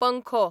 पंखो